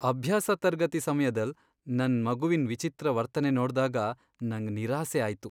ಅಭ್ಯಾಸ ತರ್ಗತಿ ಸಮ್ಯದಲ್ ನನ್ ಮಗುವಿನ್ ವಿಚಿತ್ರ ವರ್ತನೆ ನೋಡ್ದಾಗ ನಂಗ್ ನಿರಾಸೆ ಆಯ್ತು.